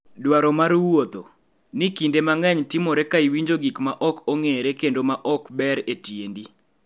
Dwaro mar wuotho ??ni kinde mang�eny timore ka iwinjo gik ma ok ong�ere kendo ma ok ber e tiendi.